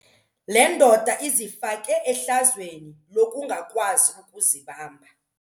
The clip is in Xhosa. Le ndoda izifake ehlazweni lokungakwazi ukuzibamba.